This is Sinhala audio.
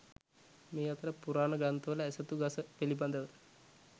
මේ අතර පුරාණ ග්‍රන්ථවල ඇසතු ගස පිළිබඳව